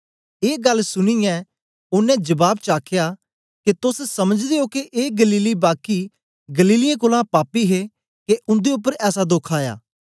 ए गल्ल सुनीयै ओनें जबाब च आखया के तोस समझदे ओ के ए गलीली बाकी गलीलियें कोलां पापी हे के उन्दे उपर ऐसा दोख आया